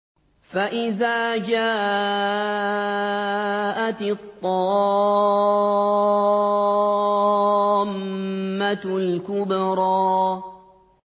فَإِذَا جَاءَتِ الطَّامَّةُ الْكُبْرَىٰ